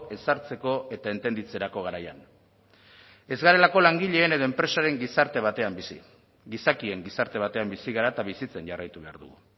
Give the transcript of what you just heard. ezartzeko eta entenditzerako garaian ez garelako langileen edo enpresaren gizarte batean bizi gizakien gizarte batean bizi gara eta bizitzen jarraitu behar dugu